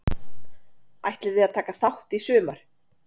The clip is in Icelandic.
Ætliði að taka þátt í sumar?